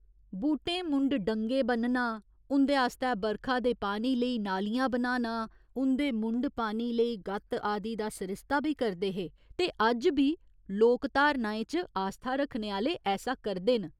बूह्टें मुंढ डंगे ब'न्नना, उं'दे आस्तै बरखा दे पानी लेई नालियां बनाना, उं'दे मुंढ पानी लेई ग'त्त आदि दा सरिस्ता बी करदे हे ते अज्ज बी लोक धारणाएं च आस्था रक्खने आह्‌ले ऐसा करदे न।